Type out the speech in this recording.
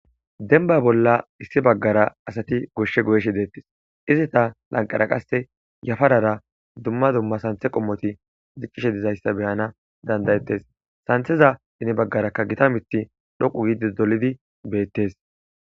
Dembba bolla issi baggara asati gooshshe goyishe deettes izeta lanqera qasse yafarara dumma dumma santhe qommoti diccishe dizayssa beyana danda'ettes santheza ine baggarakka gita miiththi dhoqqu gidii dolidi beettes